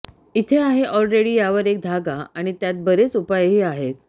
इथे आहे ऑलरेडी यावर एक धागा आणि त्यात बरेच उपायही आहेत